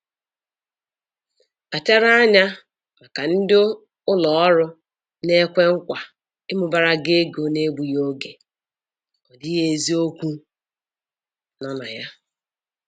Kpachara anya maka ndị ụlọ ọrụ na-ekwe nkwa ịmụbara gị ego n'egbughị oge, ọ dịghị eziokwu nọ na ya